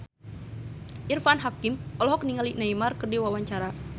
Irfan Hakim olohok ningali Neymar keur diwawancara